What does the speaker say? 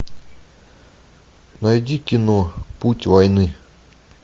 найди кино путь войны